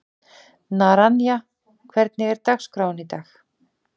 Naranja, hvernig er dagskráin í dag?